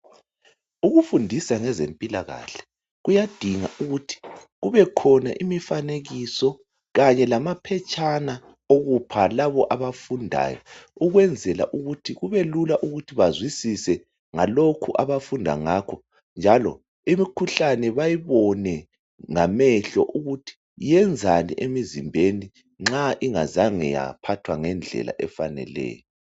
Ukufundisa ngezempilakahle kuyadinga ukuthi kube khona imifanekiso kanye lamaphetshana okupha labo abafundayo ukwenzela ukuthi kubelula ukuzwisisa ngalokho abafunda ngakho njalo imikhuhlane bayibone ngamehlo ukuthi yenzani emzimbeni nxa ingazange yaphathwa ngendlela efaneleyo.